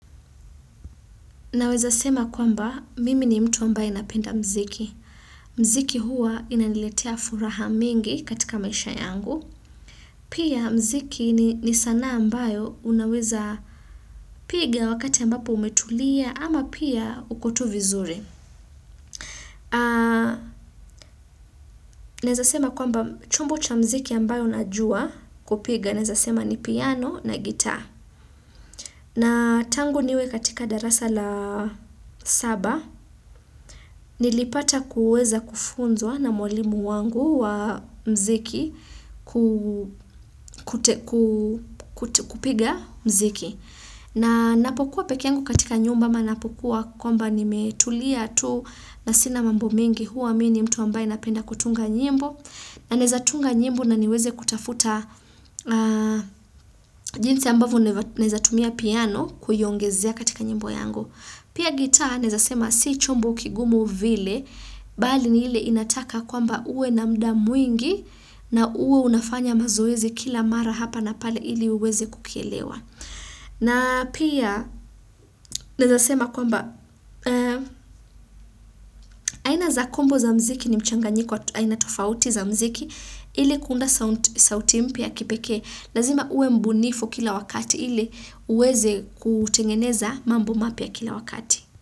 Naweza sema kwamba mimi ni mtu ambaye napenda mziki. Mziki huwa inaliletea furaha mingi katika maisha yangu. Pia mziki ni sana ambayo unaweza piga wakati ambapo umetulia ama pia ukotu vizuri. Naweza sema kwamba chombo cha mziki ambayo najua kupiga naweza sema ni piano na gita. Na tangu niwe katika darasa la saba, nilipata kuweza kufunzwa na mwalimu wangu wa mziki kupiga mziki. Na napokuwa pekeangu katika nyumba ama napokuwa kwamba nimetulia tu na sina mambo mengi huwa mini mtu ambaye napenda kutunga nyimbo. Na naezatunga njimbo na niweze kutafuta jinsi ambavo nezatumia piano kuyongezea katika nyimbo yangu. Pia gitaa nezasema si chombo kigumo vile, bali ni hile inataka kwamba uwe na mda mwingi na uwe unafanya mazoezi kila mara hapa na pale ili uweze kukielewa. Na pia nazasema kwamba. Aina za kombo za mziki ni mchanga nyiko aina tofauti za mziki ili kunda sauti mpia kipeke lazima ue mbunifu kila wakati ili uweze kutengeneza mambo mapia kila wakati.